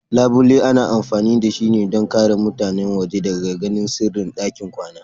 Labule ana amfani da shi don ƙare mutane waje daga ganin sirrin ɗakin kwana.